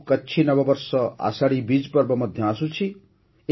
ଆଗକୁ କଚ୍ଛୀ ନବବର୍ଷ ଆଷାଢ଼ୀ ବିଜ୍ ପର୍ବ ମଧ୍ୟ ଆସୁଛି